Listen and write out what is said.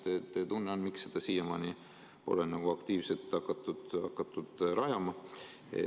Mis teie tunne on, miks seda siiamaani pole aktiivselt rajama hakatud?